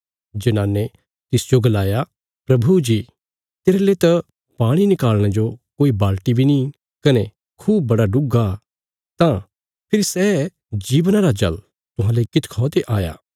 जनाने तिसजो गलाया प्रभु जी तेरले त पाणी निकाल़णे जो कोई बी बर्तण निआं कने खूह बड़ा डुग्गा तां फेरी सै जीवन देणे औल़ा पाणी तेरेले किती ते आया